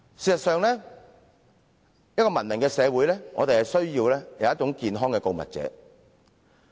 事實上，一個文明社會需要健康的告密者。